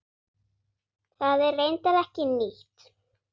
Það er reyndar ekki nýtt.